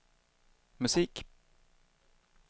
musik